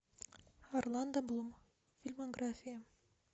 орландо блум фильмография